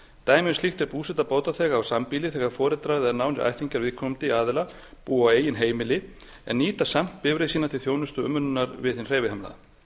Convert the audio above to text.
dæmi um slíkt er búseta bótaþega á sambýli þegar foreldrar eða nánir ættingjar viðkomandi aðila búa á eigin heimili en nýta samt bifreið sína til þjónustu og umönnunar við hinn hreyfihamlaða